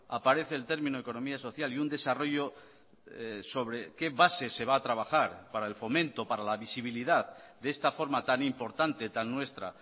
aparece el término de economía social y un desarrollo sobre qué bases se va a trabajar para el fomento para la visibilidad de esta forma tan importante tan nuestra